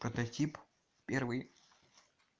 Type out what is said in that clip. прототип первый